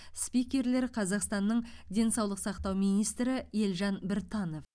спикерлер қазақстанның денсаулық сақтау министрі елжан біртанов